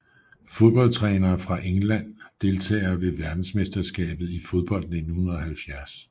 Fodboldtrænere fra England Deltagere ved verdensmesterskabet i fodbold 1970